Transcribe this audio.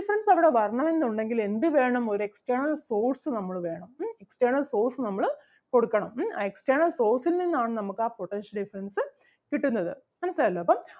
difference അവിടെ വരണം എന്നുണ്ടെങ്കിൽ എന്ത് വേണം ഒരു external source നമ്മള് വേണം external source നമ്മള് കൊടുക്കണം ഉം external source ൽ നിന്നാണ് നമുക്ക് ആ potential difference അഹ് കിട്ടുന്നത് മനസ്സിലായല്ലോ അപ്പം